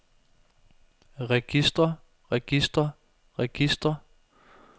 registre registre registre